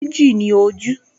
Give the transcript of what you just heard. Méjì ni ojú